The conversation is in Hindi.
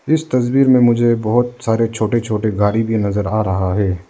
इस तस्वीर में मुझे बहोत सारे छोटे छोटे गाड़ी भी नजर आ रहा है।